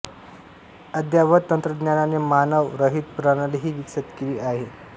अद्ययावत तंत्रज्ञानाने मानव रहित प्रणालीही विकसित केली आहे